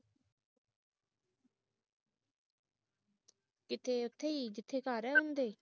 ਕਿਥੇ ਉਥੇ ਈ ਜਿੱਥੇ ਘਰ ਐ ਉਹਦੇ